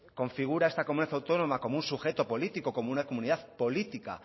configura esta comunidad autónoma como un sujeto político como una comunidad política